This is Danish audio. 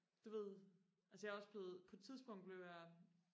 du ved altså jeg er også blevet på et tidspunkt blev jeg